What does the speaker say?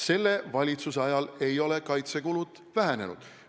Selle valitsuse ajal ei ole kaitsekulud vähenenud.